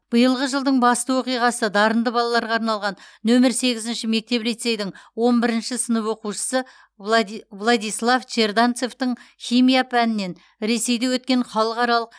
биылғы жылдың басты оқиғасы дарынды балаларға арналған нөмірі сегізінші мектеп лицейдің он бірінші сынып оқушысы владислав черданцевтың химия пәнінен ресейде өткен халықаралық